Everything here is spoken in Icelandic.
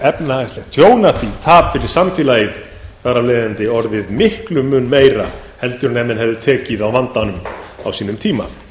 efnahagslegt tjón af því tap fyrir samfélagið þar af leiðandi orðið miklum mun meira en ef menn hefðu tekið á vandanum á sínum tíma